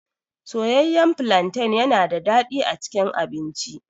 Soyayyan falanten yana da daɗi a cikin abinci.